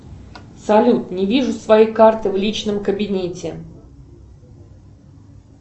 салют не вижу своей карты в личном кабинете